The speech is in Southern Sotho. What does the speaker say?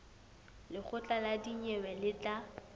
lekgotla la dinyewe le tla